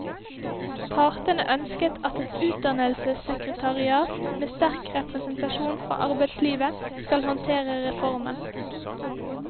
Partene ønsket at et utdannelsessekretariat, med sterk representasjon fra arbeidslivet, skal håndtere reformen.